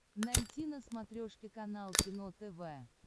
найти на смотрешке канал кино тв